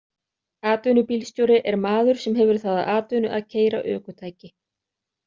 Atvinnubílstjóri er maður sem hefur það að atvinnu að keyra ökutæki.